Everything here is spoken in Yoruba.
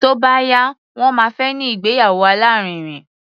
Tó bá yá, wọ́n máa fẹ́ ní ìgbéyàwó alárinrin.